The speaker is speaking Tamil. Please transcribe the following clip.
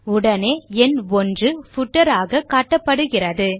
உடனே எண் 1 பூட்டர் ஆக காட்டப்படுகிறது